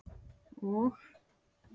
og